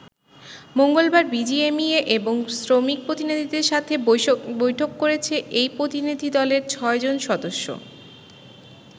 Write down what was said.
মঙ্গলবার বিজিএমইএ এবং শ্রমিক প্রতিনিধিদের সাথে বৈঠক করেছে এই প্রতিনিধি দলের ছয়জন সদস্য।